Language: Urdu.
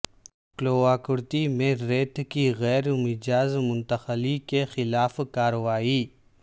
کلواکرتی میں ریت کی غیر مجاز منتقلی کے خلاف کارروائی